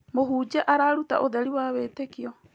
Mũhunjia araruta ũtheri wa wĩtĩkio.